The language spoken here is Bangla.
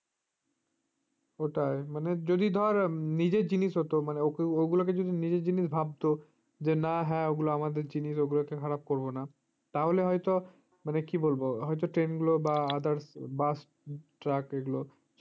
ওটাই মানে যদি ধর নিজের জিনিস হতো মানে ওগুলোকে যদি নিজের জিনিস ভাবতো যে না হ্যাঁ ওগুলো আমাদের জিনিসগুলোকে আমরা খারাপ করবো না তাহলে হয়তো মানে কি বলব হয়তো train গুলো বা others bus truck এগুলো